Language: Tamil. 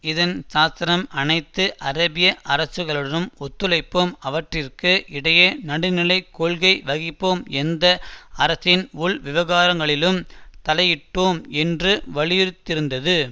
இதன் சாசனம் அனைத்து அரேபிய அரசுகளுடனும் ஒத்துழைப்போம் அவற்றிற்கு இடையே நடுநிலைக் கொள்கை வகிப்போம் எந்த அரசின் உள்விவகாரங்களிலும் தலையிட்டோம் என்று வலியுறுத்திருந்தது